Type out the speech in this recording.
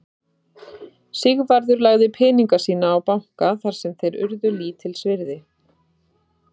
Sigvarður lagði peninga sína á banka þar sem þeir urðu lítils virði.